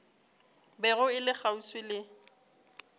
bego e le kgauswi le